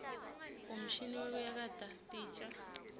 umshini wekuyakata titja